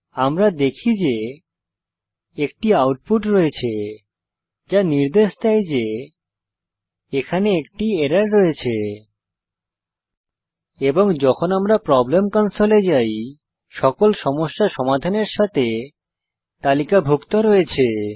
আমরা দেখি যে একটি আউটপুট রয়েছে যা নির্দেশ দেয় এখানে একটি এরর রয়েছে এবং যখন আমরা প্রব্লেম কনসোল এ যাই সকল সমস্যা সমাধানের সাথে তালিকাভুক্ত রয়েছে